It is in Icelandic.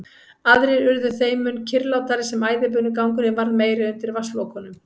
Aðrir urðu þeim mun kyrrlátari sem æðibunugangurinn varð meiri undir vatnslokunum.